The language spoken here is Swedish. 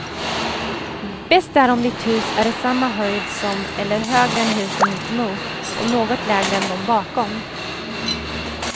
Bäst är om ditt hus är i samma höjd som eller högre än husen mitt emot och något lägre än de bakom.